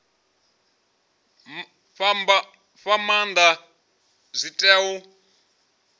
fha maanda zwi tea u